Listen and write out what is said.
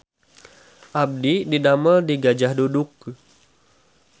Abdi didamel di Gajah Duduk